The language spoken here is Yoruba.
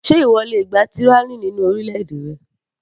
Ṣé ìwọ le gba tyranny nínú orílẹ̀-èdè rẹ.